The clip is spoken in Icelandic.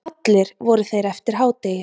Allir voru þeir eftir hádegi